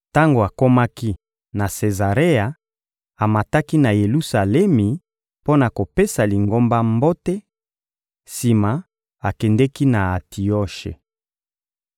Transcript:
Tango akomaki na Sezarea, amataki na Yelusalemi mpo na kopesa Lingomba mbote; sima, akendeki na Antioshe.